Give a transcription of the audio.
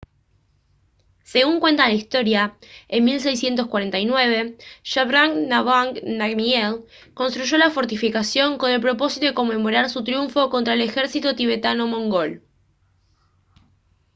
según cuenta la historia en 1649 zhabdrung ngawang namgyel construyó la fortificación con el propósito de conmemorar su triunfo contra el ejército tibetano-mongol